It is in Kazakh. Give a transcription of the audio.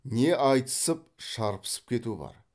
не айтысып шарпысып кету бар